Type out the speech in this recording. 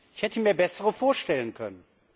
Ich hätte mir bessere vorstellen können.